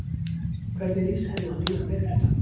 Hvernig líst henni á nýja meirihlutann?